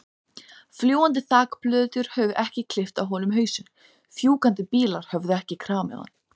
Það var þögn litla stund á meðan Birkir rýndi í textann.